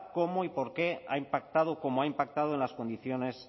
cómo y por qué ha impactado como ha impactado en las condiciones